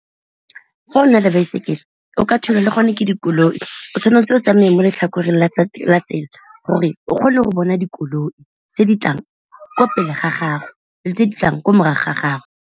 Fa o na le baesekele o ka thulwa le gone ke dikoloi, o tshwanetse o tsamaye mo letlhakoreng la tsela gore o kgone go bona dikoloi tse di tlang ko pele ga gago le tse di tlang ko morago ga gago.